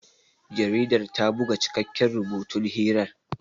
Jaridar ta buga cikakken rubutun hirar.